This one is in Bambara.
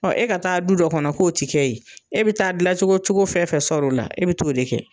Ɔ e ka taa du dɔ kɔnɔ k'o ti kɛ yen e bi taa gilacogo cogo fɛn fɛn sɔrɔ o la e bi t'o de kɛ